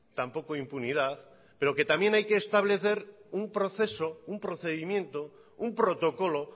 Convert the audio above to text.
tampoco impunidad pero también hay que establecer un proceso un procedimiento un protocolo